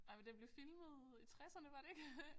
Ej men den blev filmet i tresserne var det ik